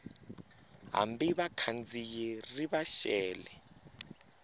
hambi vakhandziyi ri va xele